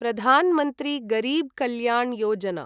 Pradhan Mantri Garib Kalyan Yojana